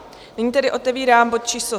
Nyní tedy otevírám bod číslo